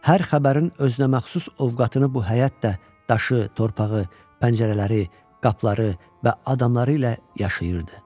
Hər xəbərin özünəməxsus ovqatını bu həyət də daşı, torpağı, pəncərələri, qapıları və adamları ilə yaşayırdı.